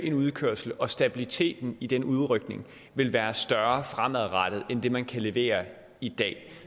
en udkørsel og at stabiliteten i den udrykning vil være større fremadrettet end det man kan levere i dag